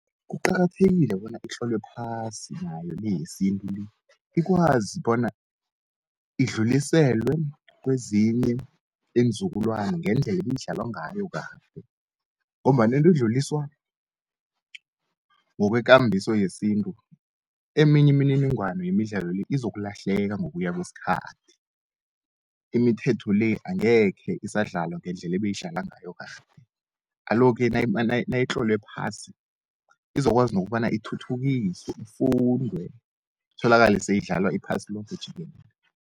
Kuqakathekile bona itlolwe phasi nayo leyesintu le, ikwazi bona idluliselwe kwezinye iinzukulwana, ngendleli ibidlalwa ngayokade, ngombana into edluliswa ngokwekambiso yesintu eminye imininingwana yemidlalo le, izokulahleka ngokuya kweskhathi. Imithetho le, angekhe isandlalwa ngendlela ebayidlalwa ngayo kade, aloke nayitlolwe phasi izokwazi nokobana ithuthukiswe ufundwe itholakale seyidlalwa iphasi loke jikelele.